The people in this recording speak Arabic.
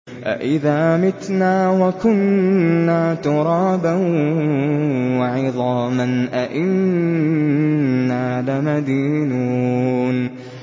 أَإِذَا مِتْنَا وَكُنَّا تُرَابًا وَعِظَامًا أَإِنَّا لَمَدِينُونَ